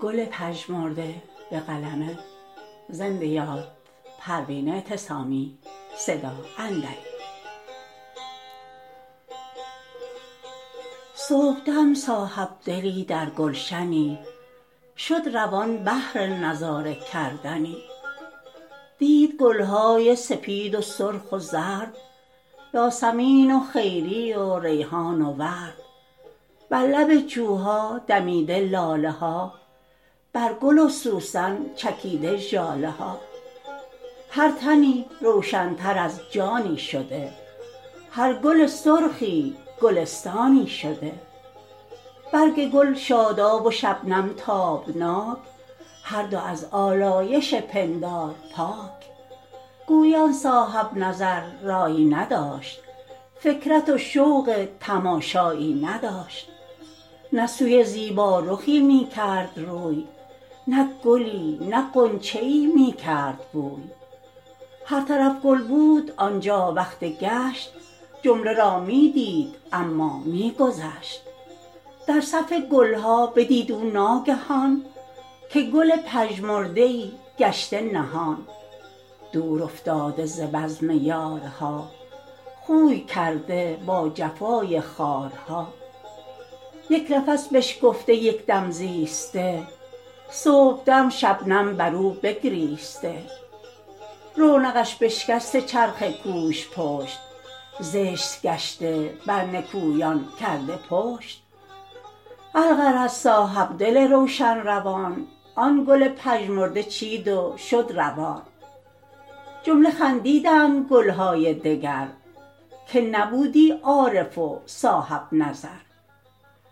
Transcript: صبحدم صاحبدلی در گلشنی شد روان بهر نظاره کردنی دید گلهای سپید و سرخ و زرد یاسمین و خیری و ریحان و ورد بر لب جوها دمیده لاله ها بر گل و سوسن چکیده ژاله ها هر تنی روشنتر از جانی شده هر گل سرخی گلستانی شده برگ گل شاداب و شبنم تابناک هر دو از آلایش پندار پاک گویی آن صاحبنظر رایی نداشت فکرت و شوق تماشایی نداشت نه سوی زیبا رخی میکرد روی نه گلی نه غنچه ای میکرد بوی هر طرف گل بود آنجا وقت گشت جمله را میدید اما میگذشت در صف گلها بدید او ناگهان که گل پژمرده ای گشته نهان دور افتاده ز بزم یارها خوی کرده با جفای خارها یکنفس بشکفته یک دم زیسته صبحدم شبنم بر او بگریسته رونقش بشکسته چرخ کوژ پشت زشت گشته بر نکویان کرده پشت الغرض صاحبدل روشن روان آن گل پژمرده چید و شد روان جمله خندیدند گلهای دگر که نبودی عارف و صاحب نظر